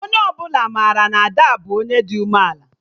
Onye ọbụla mara na Ada bụ Onye dị ume ala